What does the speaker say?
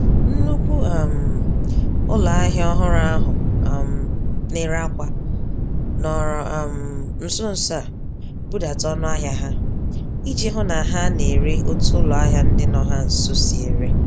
Nnukwu um ụlọahịa ọhụrụ ahụ um nèrè ákwà, nọrọ um nsonso a budata ọnụahịa ha, iji hụ ha na-ere otu ụlọahịa ndị nọ ha nso si ere.